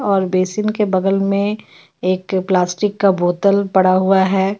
और बेसिन के बगल मे एक प्लास्टिक का बोतल पड़ा हुआ हे.